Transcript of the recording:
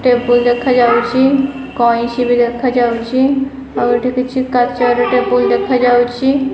Table ଦେଖାଯାଉଛି କଇଁଚି ବି ଦେଖାଯାଉଛି ଆଉ ଏଠି କିଛି କାଚର ଟେବୁଲ୍ ଦେଖାଯାଉଛି।